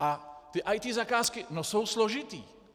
A ty IT zakázky, no jsou složité.